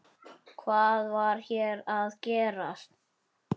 Hvað var hér að gerast?